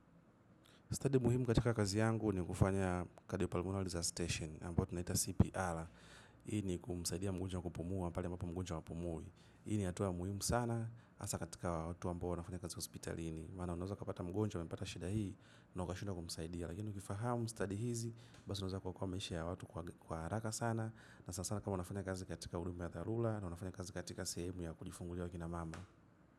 Stadi muhimu katika kazi yangu nikufanya za stesheni ambao tunaita cpr ini kumsaidia mgonjwa wakupumua mpali mbapo mgonjwa wakupumui ini atuwa muhimu sana asa katika watu ambao wanafanya kazi hospital ini mana unaeza kapata mgonjea wa mpata shida hii na wakashindwa kumsaidia lakini ukifahamu study hizi basi unaeza kwa kwa meishi ya watu kwa haraka sana na sasana kama wanafanya kazi katika ulimba ya thalula na wanafanya kazi katika sehemu ya kujifungulia wakina mama.